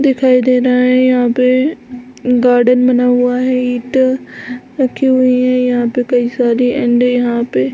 दिखाई दे रहा है यहाँ पे गार्डन बना हुआ है ईंट रखी हुई है यहाँ पे कई सारी एंड यहाँ पे --